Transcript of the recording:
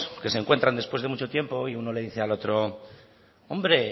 que se encuentran después de mucho tiempo y uno le dice al otro hombre